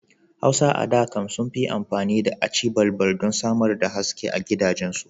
Hauwa a da can sun fi ammafi da aci balbal don samar da haske a gidajensu.